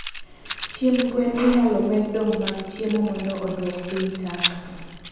chiemb gwen inyalo med dong mag chiemo mondo oduok piny taka